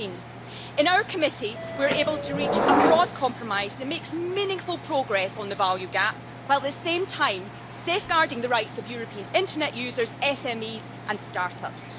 13. In our Committee we were able to reach a broad compromise that makes meaningful progress on the value gap while at the same time safeguarding the rights of European Internet users, SMEs and start-ups.